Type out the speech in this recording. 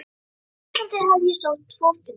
Á Íslandi hafði ég sótt tvo fundi.